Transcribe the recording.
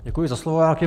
Děkuji za slovo.